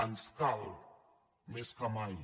ens cal més que mai